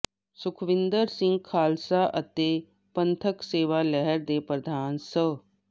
ਸੁਖਵਿੰਦਰ ਸਿੰਘ ਖਾਲਸਾ ਅਤੇ ਪੰਥਕ ਸੇਵਾ ਲਹਿਰ ਦੇ ਪ੍ਰਧਾਨ ਸ